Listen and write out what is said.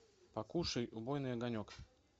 покушай убойный огонек